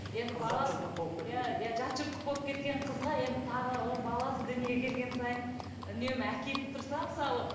жатжұрттық болып кеткен қызға енді тағы да оның баласы дүниеге келген сайын үнемі әкеліп тұрса мысалы